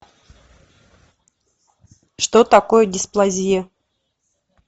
что такое дисплазия